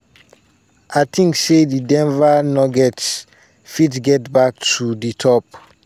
and i tink say di denver nuggets fit get back to di top."